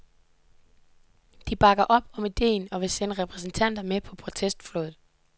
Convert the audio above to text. De bakker op om idéen og vil sende repræsentanter med på protestflåden.